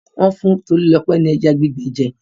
Wọn fún Tolulope ni ẹja jíjẹ jẹ.